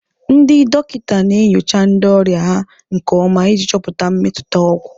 Ndị dọkịta na-enyocha ndị ọrịa ha nke ọma iji chọpụta mmetụta ọgwụ.